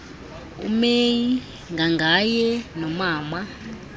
umeyi ngangaye nomama